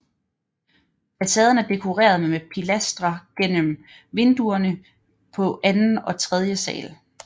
Facaden er dekoreret med pilastre mellem vinduerne på anden og tredje sal